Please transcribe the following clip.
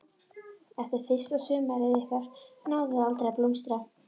Eftir fyrsta sumarið okkar náði það aldrei að blómstra.